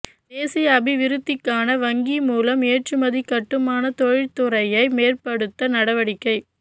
தேசிய அபிவிருத்திக்கான வங்கி மூலம் ஏற்றுமதி கட்டுமான தொழிற்துறையை மேம்படுத்த நடவடிக்கை